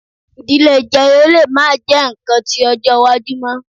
Idile jeyo le ma jẹ nkan ti ọjọ iwaju mọ